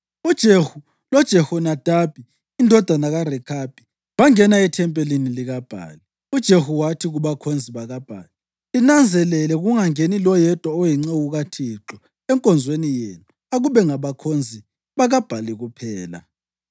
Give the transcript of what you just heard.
UJehu loJehonadabi indodana kaRekhabi bangena ethempelini likaBhali. UJehu wathi kubakhonzi bakaBhali, “Linanzelele kungangeni loyedwa oyinceku kaThixo enkonzweni yenu, akube ngabakhonzi bakaBhali kuphela.”